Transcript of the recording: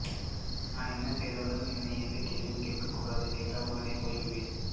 நான் என்ன செய்தாலும் என்னை எந்த கேள்வியும் கேட்கக் கூடாது கேட்டால் உடனே போய்விடுவேன்